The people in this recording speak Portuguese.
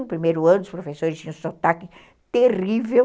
No primeiro ano, os professores tinham sotaque terrível.